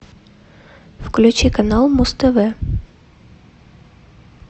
включи канал муз тв